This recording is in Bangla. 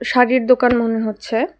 শাড়ির দোকান মনে হচ্ছে।